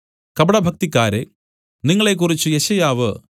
കപടഭക്തിക്കാരേ നിങ്ങളെക്കുറിച്ച് യെശയ്യാവു